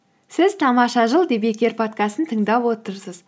сіз тамаша жыл подкастын тыңдап отырсыз